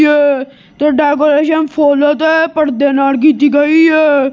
ਹੈ ਤੇ ਡੈਕੋਰੇਸ਼ਨ ਫੁਲ ਤੇ ਪਰਦੇ ਨਾਲ ਕੀਤੀ ਗਈ ਹੈ।